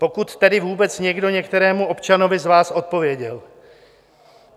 Pokud tedy vůbec někdo některému občanovi z vás odpověděl.